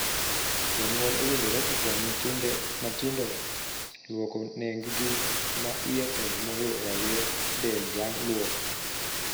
Janyuol owinjore okony nyithinde matindo luoko nenggi ma iye kod moyo raywe del bang' luok.